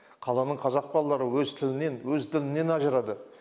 қаланың қазақ балалары өз тілінен өз дінінен ажырады